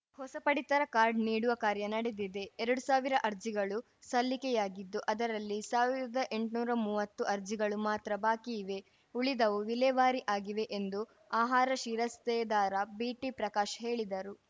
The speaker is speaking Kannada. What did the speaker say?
ಹೊಸ ಪಡಿತರ ಕಾರ್ಡ ನೀಡುವ ಕಾರ್ಯ ನಡೆದಿದೆ ಎರಡ್ ಸಾವಿರ ಅರ್ಜಿಗಳು ಸಲ್ಲಿಕೆಯಾಗಿದ್ದು ಅದರಲ್ಲಿ ಸಾವಿರ್ದಾ ಎಂಟ್ನೂರಾ ಮುವತ್ತು ಅರ್ಜಿಗಳು ಮಾತ್ರ ಬಾಕಿ ಇವೆ ಉಳಿದವು ವಿಲೇವಾರಿ ಆಗಿವೆ ಎಂದು ಆಹಾರ ಶಿರಸ್ತೇದಾರ ಬಿಟಿಪ್ರಕಾಶ್‌ ಹೇಳಿದರು